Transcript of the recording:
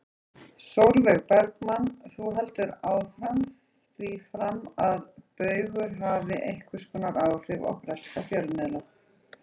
Sólveig Bergmann: Þú heldur því fram að Baugur hafi einhvers konar áhrif á breska fjölmiðla?